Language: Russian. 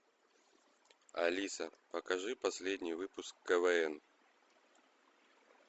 алиса покажи последний выпуск квн